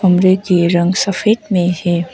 घर का रंग सफेद में है।